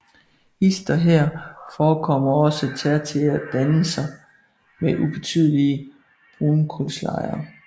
Hist og her forekommer også tertiære dannelser med ubetydelige brunkulslejer